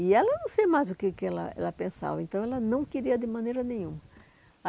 E ela não sei mais o que que ela ela pensava, então ela não queria de maneira nenhuma.